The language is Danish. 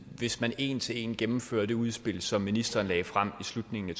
hvis man en til en gennemfører det udspil som ministeren lagde frem i slutningen af